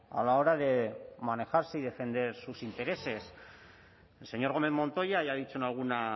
a la hora de manejarse y defender sus intereses el señor gómez montoya ya ha dicho en